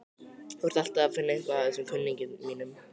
Þú ert alltaf að finna eitthvað að þessum kunningjum mínum.